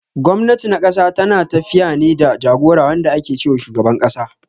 Gwamnati na ƙasa tana tafiya ne da jagora wanda ake ce wa shugaban ƙasa.